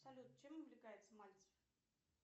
салют чем увлекается мальцев